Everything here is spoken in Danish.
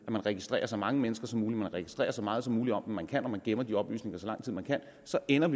at registrere så mange mennesker som muligt registrere så meget som muligt om dem man kan når man gemmer de oplysninger så lang tid man kan så ender